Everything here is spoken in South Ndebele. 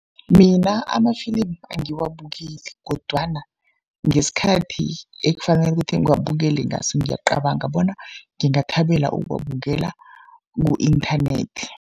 Mina ama-film angiwabukeli kodwana ngesikhathi ekufanele kuthi ngiwabukele ngaso, ngiyacabanga bona ngingathabela ukuwabukela ku-internet.